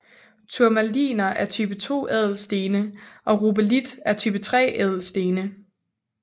Turmaliner er type 2 ædelstene og rubelit er type 3 ædelstene